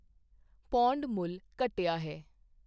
pound ਮੁੱਲ ਘਟਿਆ ਹੈ